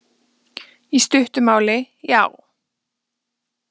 Í stuttu máli já.